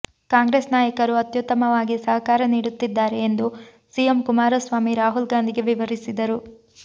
ಕಾಂಗ್ರೆಸ್ ನಾಯಕರು ಅತ್ಯುತ್ತಮವಾಗಿ ಸಹಕಾರ ನೀಡುತ್ತಿದ್ದಾರೆ ಎಂದು ಸಿಎಂ ಕುಮಾರಸ್ವಾಮಿ ರಾಹುಲ್ ಗಾಂಧಿಗೆ ವಿವರಿಸಿದರು